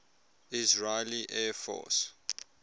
israeli air force